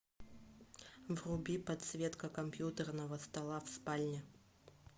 вруби подсветка компьютерного стола в спальне